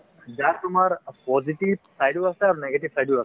যাৰ তোমাৰ অ positive side ও আছে আৰু negative side ও আছে